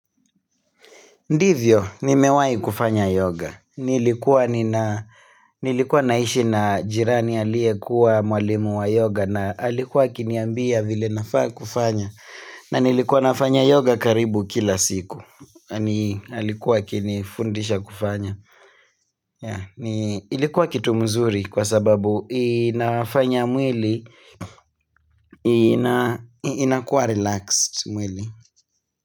Ndivyo, ni mewahi kufanya yoga. Nilikuwa naishi na jirani alie kuwa mwalimu wa yoga na alikuwa akiniambia vile nafaa kufanya. Na nilikuwa nafanya yoga karibu kila siku. Alikuwa akinifundisha kufanya. Ilikuwa kitu mzuri kwa sababu inafanya mwili, inakuwa relaxed mwili.